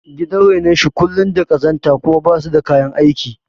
Gidan renon shi kullum da ƙazanta kuma basu da kayan aiki